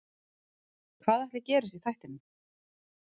Hvað ætli gerist í þættinum?